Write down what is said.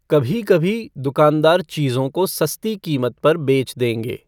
कभी कभी, दुकानदार चीज़ों को सस्ती कीमत पर बेच देंगे।